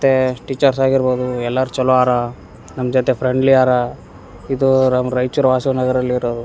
ತ್ತೇ teachers ಆಗಿರ್ಬೋದು ಎಲ್ಲಾರ್ ಚಲೋ ಆರ ನಮ್ ಜೊತೆ ಫ್ರೆಂಡ್ಲಿ ಆರ ಇದು ನಮ್ ರಾಯಚೂರ್ ವಾಸವಿ ನಗರಲ್ಲಿ ಇರೋದು.